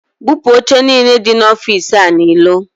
Bupu oche niile dị n'ọfici a n'ilo!